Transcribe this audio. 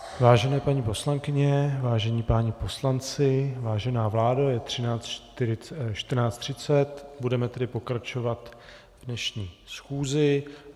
Vážené paní poslankyně, vážení páni poslanci, vážená vládo, je 14.30, budeme tedy pokračovat v dnešní schůzi.